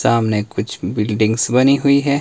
सामने कुछ बिल्डिंग्स बनी हुईं है।